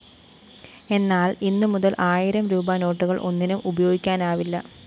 എന്നാല്‍ ഇന്ന് മുതല്‍ ആയിരം രൂപീ നോട്ടുകള്‍ ഒന്നിനും ഉപയോഗിക്കാനാവില്ല